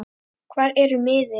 hvar eru miðin?